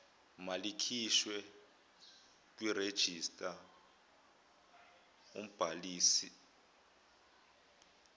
malikhishwe kwirejista umbhalisi